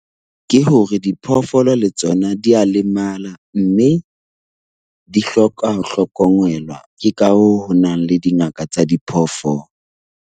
Ke hore diphoofolo le tsona di a lemala mme di hloka ho hlokomelwa. Ke ka hoo ho nang le dingaka tsa diphoofolo.